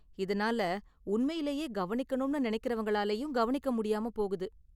இதனால உண்மையிலேயே கவனிக்கணும்னு நினைக்கறவங்களாலயும் கவனிக்க முடியாம போகுது.